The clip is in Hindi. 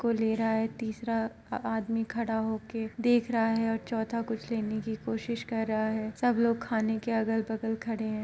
कोई ले रहा है। तीसरा अ आदमी खड़ा होकर देख रहा है और चौथा कुछ लेने की कोशिश कर रहा है। सब लोग खाने के अगल बगल खड़े हैं।